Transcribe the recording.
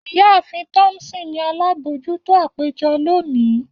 Iyaafin Thompson ni alabojuto apejọ loni.